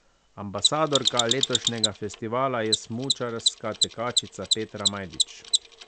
Ambasadorka letošnjega festivala je smučarska tekačica Petra Majdič.